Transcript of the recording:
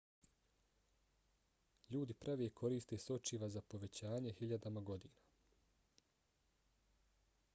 ljudi prave i koriste sočiva za povećanje hiljadama godina